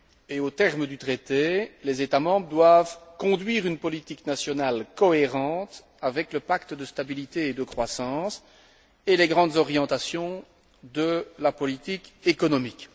Et aux termes du traité, les États membres doivent conduire une politique nationale cohérente avec le pacte de stabilité et de croissance et les grandes orientations de la politique économique.